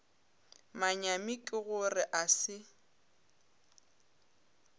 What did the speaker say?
manyami ke gore a se